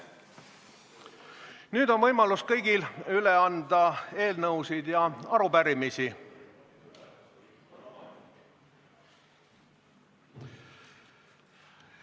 Nüüd on kõigil võimalus anda üle eelnõusid ja arupärimisi.